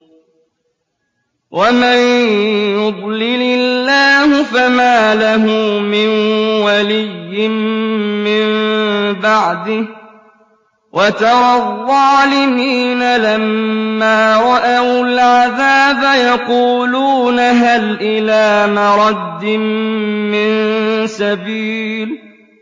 وَمَن يُضْلِلِ اللَّهُ فَمَا لَهُ مِن وَلِيٍّ مِّن بَعْدِهِ ۗ وَتَرَى الظَّالِمِينَ لَمَّا رَأَوُا الْعَذَابَ يَقُولُونَ هَلْ إِلَىٰ مَرَدٍّ مِّن سَبِيلٍ